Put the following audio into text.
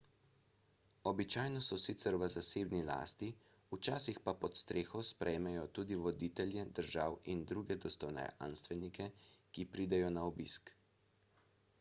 običajno so sicer v zasebni lasti včasih pa pod streho sprejmejo tudi voditelje držav in druge dostojanstvenike ki pridejo na obisk